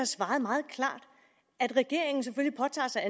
svaret meget klart regeringen påtager sig